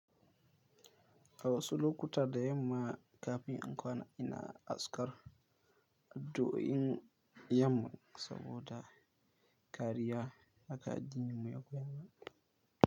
A wasu lokuta da yamma kafin in kwana ina azkar to in yamma saboda kariya haka addinin mu ya koyar.